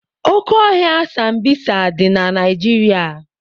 Oke ọhịa sambisa dị na Naijiria.